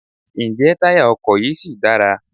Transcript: Ǹjẹ́ táyà ọkọ̀ yí ṣì dára?